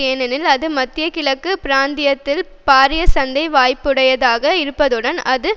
ஏனெனில் அது மத்திய கிழக்கு பிராந்தியத்தில் பாரிய சந்தை வாய்புடையதாக இருப்பதுடன் அது